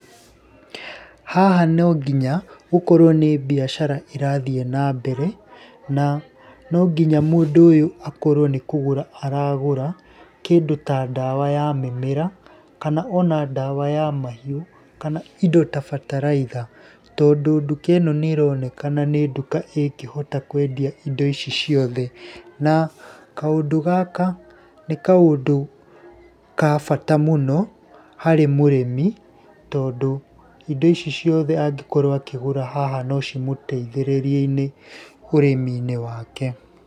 Haha no nginya gũkorwo nĩ mbiacara ĩrathiĩ nambere, na no nginya mũndũ ũyũ akorwo nĩ kũgũra aragũra, kĩndũ ta ndawa ya mĩmera, kana ona ndawa ya mahiũ, kana indo ta bataraitha. Tondũ ndũka ĩno nĩ ĩronekana nĩ nduka ĩngĩhota kwendia indo ici ciothe. Na kaũndũ gaka nĩ kaũndũ ka bata mũno harĩ mũrĩmi tondũ indo ici ciothe angĩkorwo akĩgũra haha no cimũteithĩrĩrie-inĩ ũrĩmi-inĩ wake.